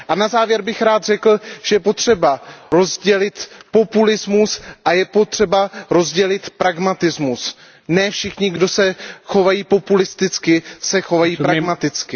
A na závěr bych rád řekl, že je potřeba rozdělit populismus a je potřeba rozdělit pragmatismus. Ne všichni, kdo se chovají populisticky, se chovají pragmaticky.